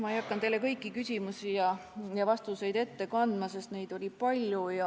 Ma ei hakanud teile kõiki küsimusi ja vastuseid ette kandma, sest neid oli palju.